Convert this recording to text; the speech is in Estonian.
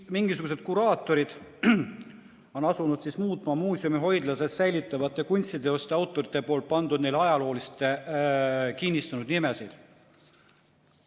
Mingisugused kuraatorid on asunud muutma muuseumi hoidlates säilitatavate kunstiteoste autorite pandud ja ajalooliselt kinnistunud nimesid.